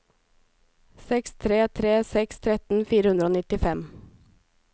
seks tre tre seks tretten fire hundre og nittifem